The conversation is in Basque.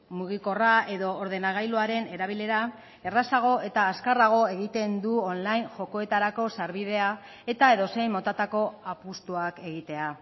mugikorra edo ordenagailuaren erabilera errazago eta azkarrago egiten du online jokoetarako sarbidea eta edozein motatako apustuak egitea